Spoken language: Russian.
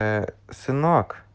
сынок